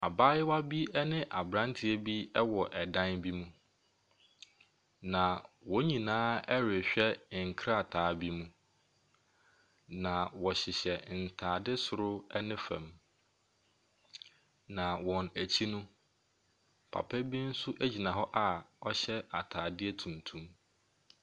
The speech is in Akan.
Abaayewa bi ne aberanteɛ bi wɔ ɛdan bi mu. Na wɔn nyinaa rehwɛ nkrataa bi mu. Na wɔhyehyɛ ntaade soro ne fam. Na wɔn akyi no, papa bi nso gyina hɔ a ɔhyɛ atadeɛ tuntum.